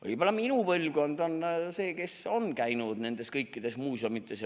Võib-olla minu põlvkond on see, kes on käinud kõikides muuseumides.